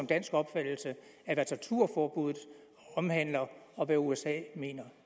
dansk opfattelse af hvad torturforbuddet omhandler og hvad usa mener